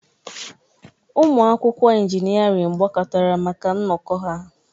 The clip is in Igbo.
Ụmụ akwụkwọ injịniarịn gbakọtara maka nnọkọ ha.